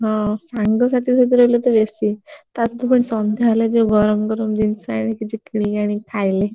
ହଁ ସାଙ୍ଗ ସାଥି ସହ ରହିଲେ ତ ବେଶୀ ତା ସହିତ ପୁଣି ସନ୍ଧ୍ୟା ହେଲେ ଯଉ ଗରମ ଗରମ ଜିନିଷ ଆଣିଲେ କିଛି କିଣିକି ଆଣିକି ଖାଇଲେ।